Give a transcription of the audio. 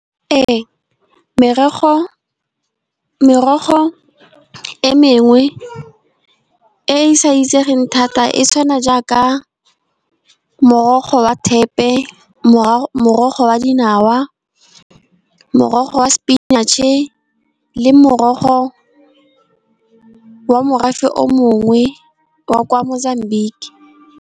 Ee, merogo e mengwe e e sa itseng thata e tshwana jaaka morogo wa thepe, morogo wa di nawa, morogo wa spinach-e, le morogo wa morafe o mongwe wa Kwa Mozambique.